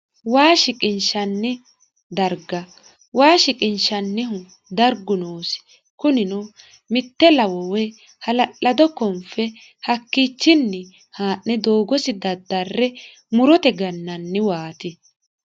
Waa shiqinishanni dariga waa shiqqishshanihu dariggu noosi kunnino mitte lawo woyi halaladdo konife hakkichinni haane doogosi dadarre murotte gananiwati